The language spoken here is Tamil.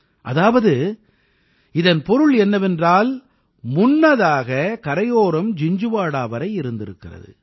அதாவது இதன் பொருள் என்னவென்றால் முன்னதாக கரையோரம் ஜிஞ்ஜுவாடா வரை இருந்திருக்கிறது